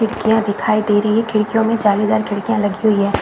खिड़किया दिखाई दे रही है खिड़कियों मे जालीदार खिड़किया लगी हुई है।